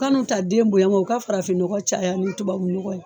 Kanu ta den bonya ma u ka farafin ɲɔgɔ caya ni tubabu nɔgɔ ye.